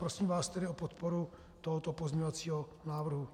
Prosím vás tedy o podporu tohoto pozměňovacího návrhu.